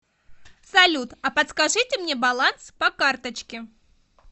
салют а подскажите мне баланс по карточке